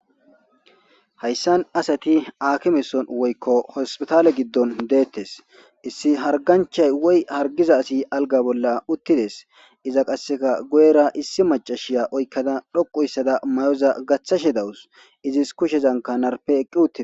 hayssan asati akimeson woykko hospitaale giddon deettes issi harganchay woy hargiza asi alga bolla uttides iza qasseka goyera issi macashiya oykkada dhoqu yssada may7oza gaththashe dawus izis kushezanka narpe eqqi utide